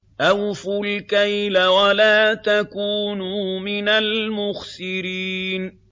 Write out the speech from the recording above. ۞ أَوْفُوا الْكَيْلَ وَلَا تَكُونُوا مِنَ الْمُخْسِرِينَ